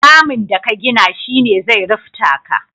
Ramin da ka gina shi ne zai rufta ka.